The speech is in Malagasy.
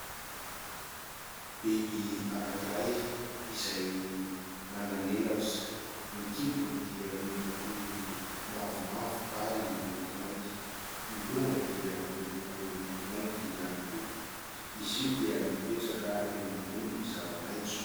Biby anankiray izay manan'elatra. Ny kibony dia miloko mavomavo ary maintimainty. Ny lohany dia miloko maintimainty ihany koa. Izy io dia mipetraka eo ambony zava-maitso.